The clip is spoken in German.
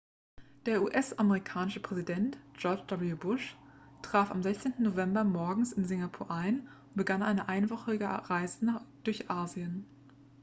der us-amerikanische präsident george w bush traf am 16. november morgens in singapur ein und begann eine einwöchige reise durch asien